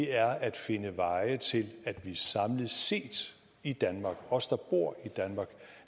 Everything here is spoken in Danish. er at finde veje til at vi samlet set i danmark os der bor